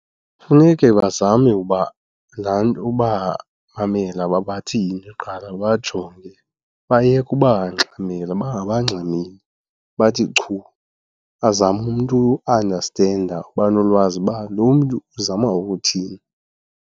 Funeke bazame uba ubamamela uba bathini kuqala babajonge, bayeke ubangxamela. Bangabangxameli, bathi chu, azame umntu uandastenda uba nolwazi uba lo mntu uzama ukuthini.